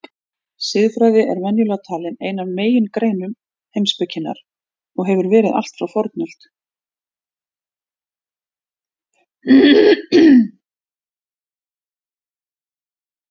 Siðfræði er venjulega talin ein af megingreinum heimspekinnar og hefur verið allt frá fornöld.